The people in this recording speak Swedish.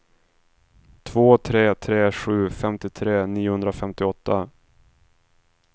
två tre tre sju femtiotre niohundrafemtioåtta